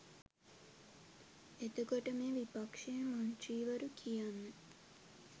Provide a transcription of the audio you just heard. එතකොට මේ විපක්ෂයේ මන්ත්‍රීවරු කියන්නේ